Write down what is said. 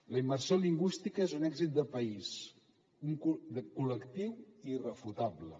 la immersió lingüística és un èxit de país col·lectiu i irrefutable